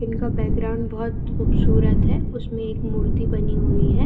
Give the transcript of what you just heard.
इनका बैकग्राउंड बहोत खूबसूरत है उसमें एक मूर्ति बनी हुई है।